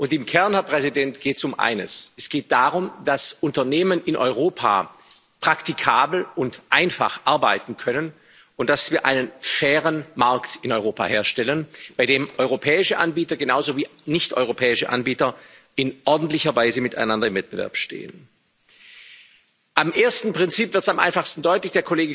Und im Kern, Herr Präsident, geht es um eines Es geht darum, dass Unternehmen in Europa praktikabel und einfach arbeiten können und dass wir einen fairen Markt in Europa herstellen, auf dem europäische Anbieter genauso wie nichteuropäische Anbieter in ordentlicher Weise miteinander im Wettbewerb stehen. Am ersten Prinzip wird das am einfachsten deutlich.